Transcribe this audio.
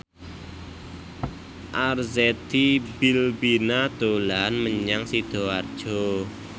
Arzetti Bilbina dolan menyang Sidoarjo